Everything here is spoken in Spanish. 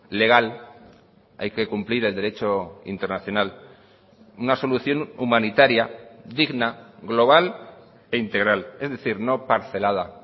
legal hay que cumplir el derecho internacional una solución humanitaria digna global e integral es decir no parcelada